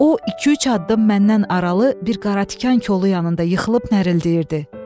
O iki-üç addım məndən aralı, bir qara tikan kolu yanında yıxılıb nərəldəyirdi.